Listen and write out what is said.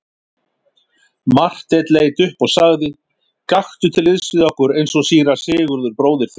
Marteinn leit upp og sagði:-Gakktu til liðs við okkur eins og síra Sigurður bróðir þinn.